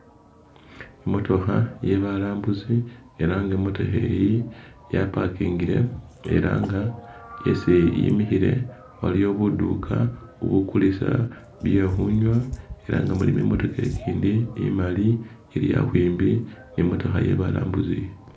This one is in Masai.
I motookha ye balambuzi ela nga imotoka eyi ya pakingile ela nga esi yimikhile waliyo buduuka bugulisa bye khunywa ela nga mulimo imotokha igindi imali ili khakwimbi ni motokha ye balambuzi.